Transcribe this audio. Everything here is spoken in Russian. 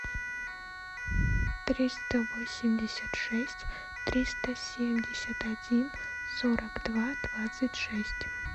триста восемьдесят шесть триста семьдесят один сорок два двадцать шесть